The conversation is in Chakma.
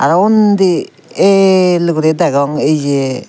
undi eel guri degong eyeh.